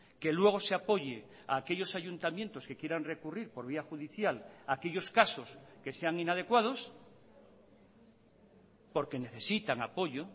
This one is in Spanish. que luego se apoye a aquellos ayuntamientos que quieran recurrir por vía judicial aquellos casos que sean inadecuados porque necesitan apoyo